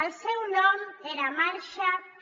el seu nom era marsha p